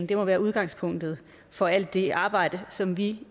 det må være udgangspunktet for alt det arbejde som vi